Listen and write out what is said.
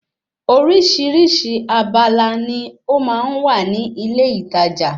Orísìírísìí abala ni ó máa ń wà ní ilé ìtajà